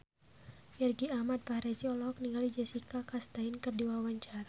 Irgi Ahmad Fahrezi olohok ningali Jessica Chastain keur diwawancara